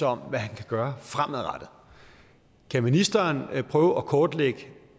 om hvad han kan gøre fremadrettet kan ministeren prøve at kortlægge